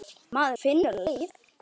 Maður finnur leið.